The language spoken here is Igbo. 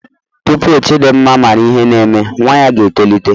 Tupu Chidimma mara ihe na-eme nwa ya ga-etolite.